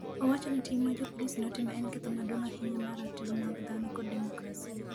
Owacho ni tim ma jopolisi notimo en ketho maduong’ ahinya mar ratiro mag dhano kod demokrasia.